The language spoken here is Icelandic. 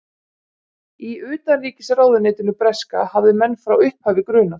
Í utanríkisráðuneytinu breska hafði menn frá upphafi grunað